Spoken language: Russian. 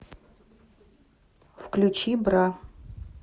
включи бра